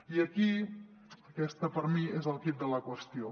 i aquí aquest per mi és el quid de la qüestió